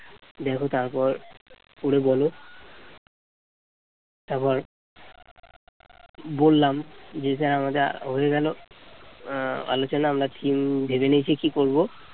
বললাম যে sir আমাদের হয়ে গেল অ্যাঁ আলোচনা আমরা theme ভেবে নিয়েছি কি করব